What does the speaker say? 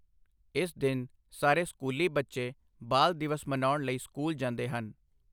ਇਸ ਦਿਨ ਸਾਰੇ ਸਕੂਲੀ ਬੱਚੇ ਬਾਲ ਦਿਵਸ ਮਨਾਉਣ ਲਈ ਸਕੂਲ ਜਾਂਦੇ ਹਨ।